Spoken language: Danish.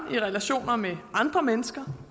og i relationer med andre mennesker